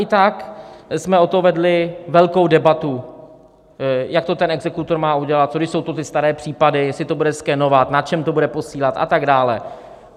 I tak jsme o to vedli velkou debatu, jak to ten exekutor má udělat, co když to jsou ty staré případy, jestli to bude skenovat, na čem to bude posílat a tak dále.